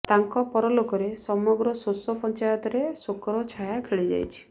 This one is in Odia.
ତାଙ୍କ ପରଲୋକରେ ସମଗ୍ର ସୋସୋ ପଞ୍ଚାୟତରେ ଶୋକର ଛାୟା ଖେଳି ଯାଇଛି